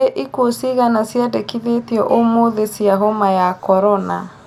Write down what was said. Nĩ ikuũ cigana ciandĩkithĩtio ũmũthi cia homa ya korona